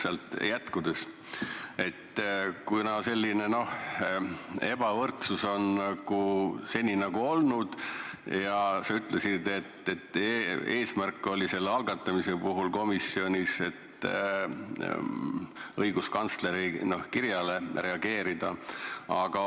Sealt jätkates: jah, selline ebavõrdsus on seni olnud ja sa ütlesid, et eelnõu algatamise eesmärk oli õiguskantsleri kirjale reageerida.